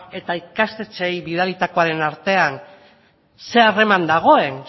eta ikastetxeei bidalitakoaren artean ze harreman dagoen